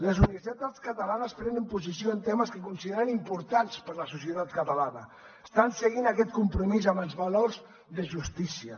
les universitats catalanes prenen posició en temes que consideren importants per a la societat catalana estan seguint aquest compromís amb els valors de justícia